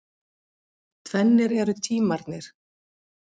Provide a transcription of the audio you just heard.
Tvennir eru tímarnir.